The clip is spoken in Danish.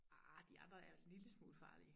Arh de andre er også en lille smule farlige